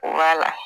O b'a la